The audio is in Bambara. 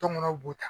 Tɔnmɔw b'o ta